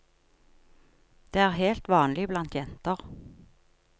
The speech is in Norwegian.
Det er helt vanlig blant jenter.